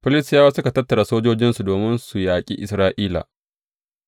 Filistiyawa suka tattara sojojinsu domin su yaƙi Isra’ila.